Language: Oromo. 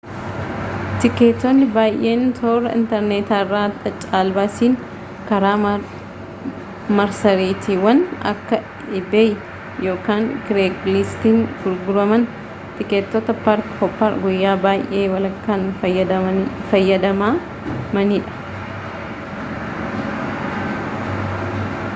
tikeetonni baayyeen toora interneetaarraan caalbaasiin karaa marsariitiiwwan akka iibeey yookaan kireegliistiin gurguraman tikeettota park hooppar guyya-baaayyee walakkaan fayadamamanidha